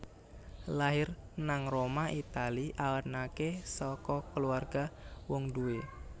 Lair nang Roma Italia anake saka kulawarga wong duwé